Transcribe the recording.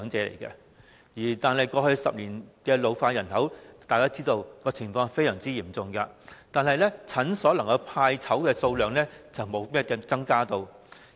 大家都知道，過去10年，人口老化的情況非常嚴重，但診所派籌的數量並沒有增加。